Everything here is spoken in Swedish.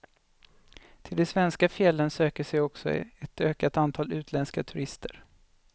Till de svenska fjällen söker sig också ett ökat antal utländska turister.